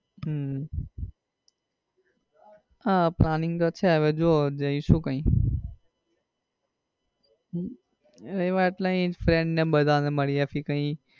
હમ હા planning તો છે હવે જો જઈશું કઈ એટલેઅહીં ફ્રેન્ડ ને બધા ને મળીએ નેકઈ